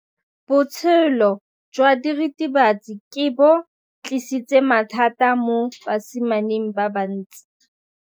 Botshelo jwa diritibatsi ke bo tlisitse mathata mo basimaneng ba bantsi.